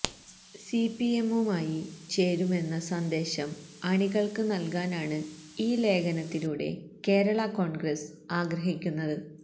സിപിഎമ്മുമായി ചേരുമെന്ന സന്ദേശം അണികൾക്ക് നൽകാനാണ് ഈ ലേഖനത്തിലൂടെ കേരളാ കോൺഗ്രസ് ആഗ്രഹിക്കുന്നത്